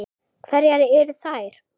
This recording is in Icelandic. Hverjar eru þær?